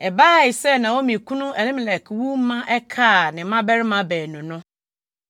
Ɛbaa sɛ Naomi kunu Elimelek wu ma ɛkaa ne mmabarima baanu no.